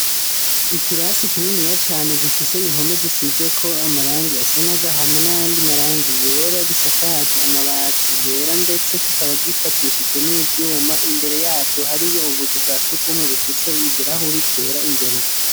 Ikirasi kininiya cane gifise impome zisizeko amarangi asa n'agahama n'ayandi marangi yera gisakaje amabati yera, ndetse kikaba gifatishijwe n'ivyuma, imbere yavyo hariyo ubuzu bwa sugumwe bufise ibirahuri vyera imbere.